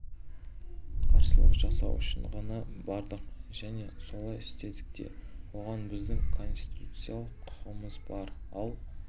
қарсылық жасау үшін ғана бардық және солай істедік те оған біздің конституциялық құқымыз бар ал